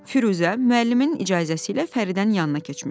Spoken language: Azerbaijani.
Firuzə müəllimin icazəsi ilə Fəridənin yanına keçmişdi.